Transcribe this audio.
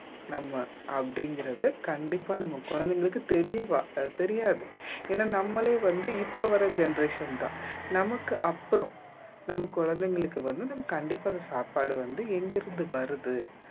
நம்ம அப்படிங்கிறது கண்டிப்பா நம்ம குழந்தைங்களுக்கு தெரிவ தெரியாது ஏன்னா நம்மளே வந்து இப்ப வர்ற generation தான் நமக்கு அப்புறம் நம்ம குழந்தைங்களுக்கு வந்து நம்ம கண்டிப்பா அத சாப்பாடு வந்து எங்கிருந்து வருது